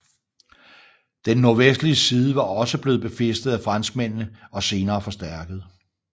Den nordvestlige side var også blevet befæstet af franskmændene og senere forstærket